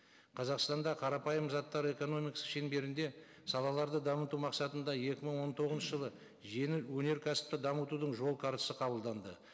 қазақстанда қарапайым заттар экономикасы шеңберінде салаларды дамыту мақсатында екі мың он тоғызыншы жылы жеңіл өнеркәсіпті дамытудың жол картасы қабылданды